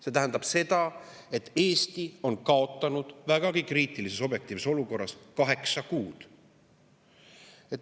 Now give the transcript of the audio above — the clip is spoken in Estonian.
See tähendab seda, et Eesti on kaotanud vägagi kriitilises objektiivses olukorras kaheksa kuud.